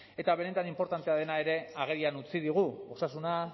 eta benetan inportantea dena ere agerian utzi digu osasuna